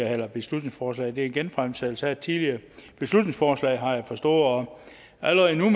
her beslutningsforslag det er genfremsættelse af et tidligere beslutningsforslag har jeg forstået og allerede nu